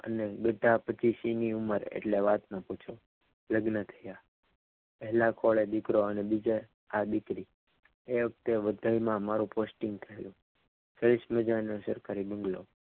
તમને બેઠા પછી સિંહની ઉંમર એટલે વાત ના પૂછો લગ્ન થયા પહેલા ખોળે દીકરો અને બીજા માં દીકરી એ વખતે વધારમાં મારું posting થયું સરસ મજાનું સરકારી બંગલો.